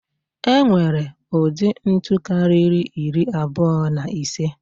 E nwere ụdị ntu karịrị iri abụọ na ise.